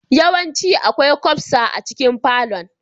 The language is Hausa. Yawanci akwai kwasfa a cikin falon.